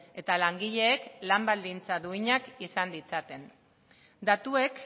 eta langileek lan baldintza duinak izan ditzaten datuek